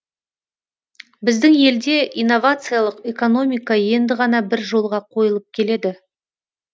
біздің елде инновациялық экономика енді ғана бір жолға қойылып келеді